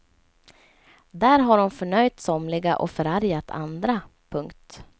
Där har hon förnöjt somliga och förargat andra. punkt